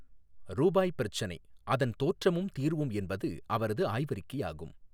ரூபாய் பிரச்சினை அதன் தோற்றமும் தீர்வும் என்பது அவரது ஆய்வறிக்கையாகும்.